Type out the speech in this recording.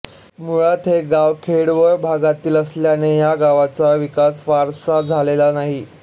मुळात हे गाव खेडवळ भागातील असल्याने या गावाचा विकास फारसा झालेला नाही